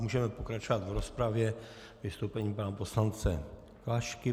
Můžeme pokračovat v rozpravě vystoupením pana poslance Klašky.